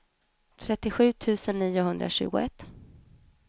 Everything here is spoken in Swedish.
trettiosju tusen niohundratjugoett